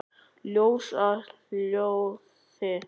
Ljós að hljóði?